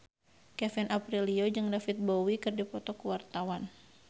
Kevin Aprilio jeung David Bowie keur dipoto ku wartawan